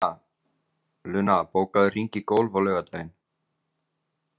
Luna, bókaðu hring í golf á laugardaginn.